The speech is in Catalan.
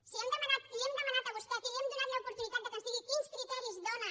si li hem demanat a vostè aquí li hem donat l’opor·tunitat que ens digui quins criteris dóna